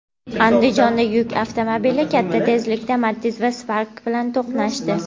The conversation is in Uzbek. Andijonda yuk avtomobili katta tezlikda Matiz va Spark bilan to‘qnashdi.